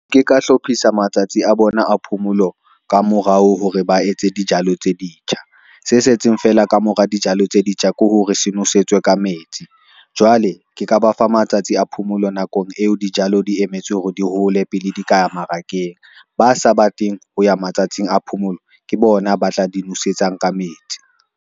Ke ka hlophisa matsatsi a bona a phomolo ka morao hore ba etse dijalo tse ditjha, se setseng feela ka mora dijalo tse ditjha ke hore se nosetswe ka metsi. Jwale ke ka ba fa matsatsi a phomolo nakong eo dijalo di emetswe hore di hole pele di ka ya mmarakeng, ba sa ba tleng ho ya matsatsing a phomolo ke bona ba tla di nosetsang ka metsi.